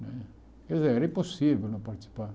Quer dizer, era impossível não participar.